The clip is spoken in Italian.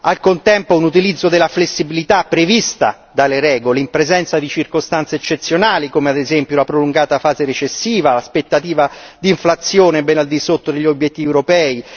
Al contempo un utilizzo della flessibilità prevista dalle regole, in presenza di circostanze eccezionali, come ad esempio, la prolungata fase recessiva, l'aspettativa di inflazione bene al di sotto degli obiettivi europei.